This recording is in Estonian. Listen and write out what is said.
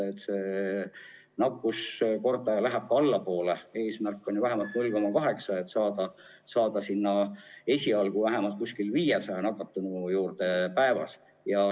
Eesmärk on ju see, et R oleks vähemalt 0,8 ja et nakatunuid oleks esialgu umbes 500 päevas.